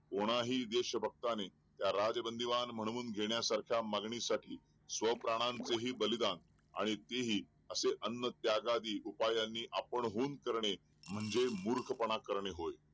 कोणाही देश भक्ताने त्या राजबंदीवान म्हणून घेण्यासारख्य मागणी साठी स्व प्राणांचे बलिदान आणि तेही असे अन्न त्यागादि उपाय आपण हुन करणे म्हणजे मूर्खपणा करणे होय